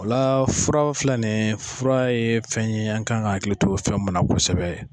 O la fura fila nin fura ye fɛn ye an kan ka hakili to fɛn mun na kosɛbɛ